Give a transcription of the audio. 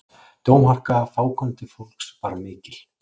Dómharka fákunnandi fólks var mikil.